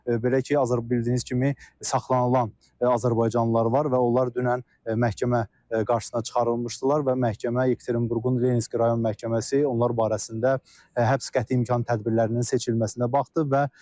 Belə ki, bildiyiniz kimi saxlanılan azərbaycanlılar var və onlar dünən məhkəmə qarşısına çıxarılmışdılar və məhkəmə, Yekaterinburqun Lenski rayon məhkəməsi onlar barəsində həbs qəti imkan tədbirlərinin seçilməsinə baxdı.